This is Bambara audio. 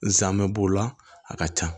Nsaamɛ b'o la a ka ca